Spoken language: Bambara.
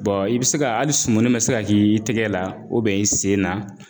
i bi se ka hali sumuni bɛ se ka k'i tɛgɛ la u bɛ i sen na